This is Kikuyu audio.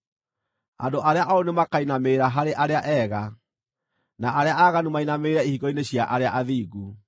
Andũ arĩa ooru nĩmakainamĩrĩra harĩ arĩa ega, na arĩa aaganu mainamĩrĩre ihingo-inĩ cia arĩa athingu.